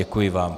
Děkuji vám.